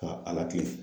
Ka a lakilina